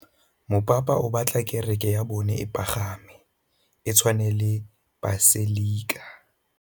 Mopapa o batla kereke ya bone e pagame, e tshwane le paselika.